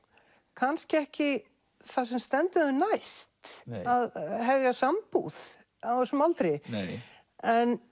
kannski ekki það sem stendur þeim næst að hefja sambúð á þessum aldri en